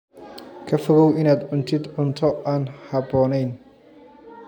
Ka fogow inaad cuntid cunto aan habboonayn.